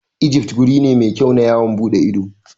Ijif guri ne mai kyau na yawon ɓuɗe ido.